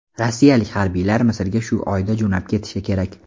Rossiyalik harbiylar Misrga shu oyda jo‘nab ketishi kerak.